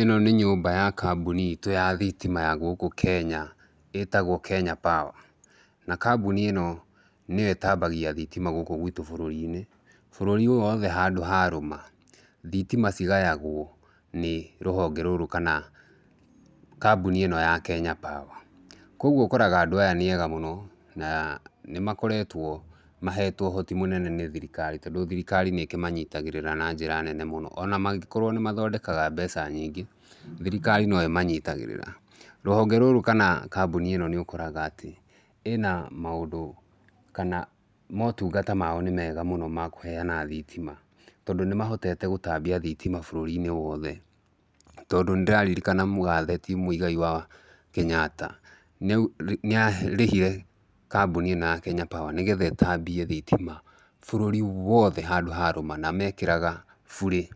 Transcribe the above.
Ĩno nĩ nyũmba ya kabũni itũ ya thitima ya gũkũ Kenya ĩtagwo Kenya Power, na kambũni ĩno nĩyo ĩtambagia thitima gũkũ gwitũ bũrũri-inĩ, bũrũri ũyũ wothe handũ harũma thitima cigayagwo nĩ rũhonge rũrũ kana kambũni ĩno ya Kenya Power, koguo ũkoraga andũ aya nĩega mũno na nĩmakoretwo mahetwo ũhoti mũnene nĩ thirikari tondũ thirikari nĩĩkĩmanyitagĩrĩra na njĩra nene mũno, ona mangĩkorwo nĩmathondekaga mbeca nyingĩ thirikari noĩmanyitagĩrĩra, rũhonge rũrũ kana kambũni ĩno nĩũkoraga atĩ ĩna maũndũ kana motungata mao nĩmega mũno ma kũheana thitima tondũ nĩmahotete gũtambia thitima bũrũri-inĩ wothe, tondũ nĩndĩraririkana mũgathe ti Mweigai wa Kenyatta nĩarĩhire kambũni ĩno ya Kenya Power nĩgetha ĩtambie thitima bũrũri wothe handũ harũma na mekĩraga bure,